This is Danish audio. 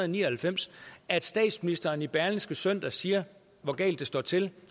ni og halvfems at statsministeren i berlingske søndag siger hvor galt det står til